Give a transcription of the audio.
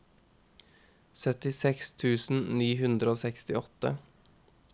syttiseks tusen ni hundre og sekstiåtte